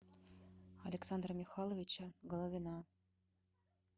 александра михайловича головина